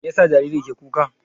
Mai yasa jariri ke ƙuka?